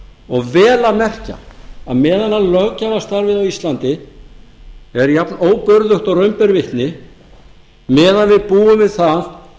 og vel að merkja að meðan löggjafarstarfið á íslandi er jafnóburðugt og raun ber vitni meðan við búum við það